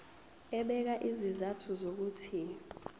ebeka izizathu zokuthi